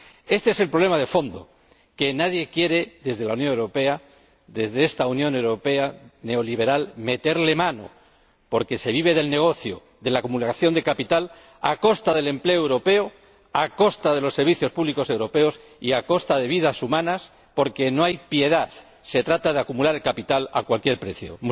Éste es el problema de fondo, al que nadie, desde la Unión Europea, desde esta Unión Europea neoliberal, quiere meterle mano, porque se vive del negocio, de la acumulación de capital a costa del empleo europeo, a costa de los servicios públicos europeos y a costa de vidas humanas, porque no hay piedad, se trata de acumular capital a cualquier precio.